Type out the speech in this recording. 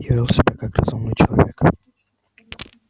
я вёл себя как разумный человек